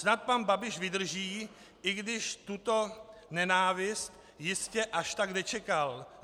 Snad pan Babiš vydrží, i když tuto nenávist jistě až tak nečekal.